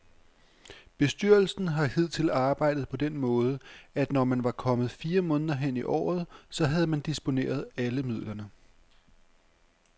Bestyrelsen har hidtil arbejdet på den måde, at når man var kommet fire måneder hen i året, så havde man disponeret alle midlerne.